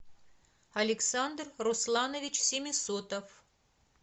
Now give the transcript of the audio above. александр русланович семисотов